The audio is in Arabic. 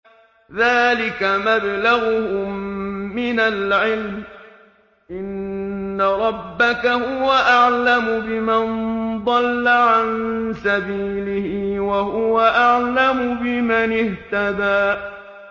ذَٰلِكَ مَبْلَغُهُم مِّنَ الْعِلْمِ ۚ إِنَّ رَبَّكَ هُوَ أَعْلَمُ بِمَن ضَلَّ عَن سَبِيلِهِ وَهُوَ أَعْلَمُ بِمَنِ اهْتَدَىٰ